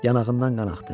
Yanağından qanaxdı.